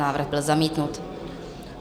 Návrh byl zamítnut.